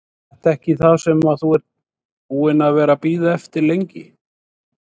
Er þetta ekki það sem þú ert búinn að vera að bíða eftir lengi?